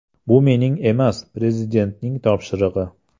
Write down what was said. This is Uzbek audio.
Bu mening emas, Prezidentning topshirig‘i.